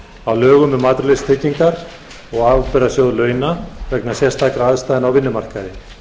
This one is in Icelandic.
á lögum um atvinnuleysistryggingar og ábyrgðasjóð launa vegna sérstakra aðstæðna á vinnumarkaði